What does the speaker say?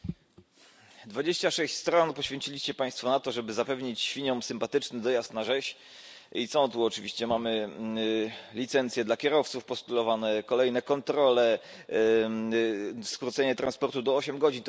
Panie Przewodniczący! 26 stron poświęciliście Państwo na to, żeby zapewnić świniom sympatyczny dojazd na rzeź. I co? oczywiście mamy tu licencje dla kierowców, postulowane kolejne kontrole, skrócenie transportu do ośmiu godzin.